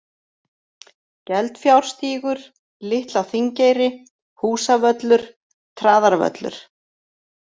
Geldfjárstígur, Litla-Þingeyri, Húsavöllur, Traðarvöllur